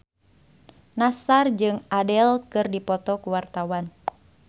Nassar jeung Adele keur dipoto ku wartawan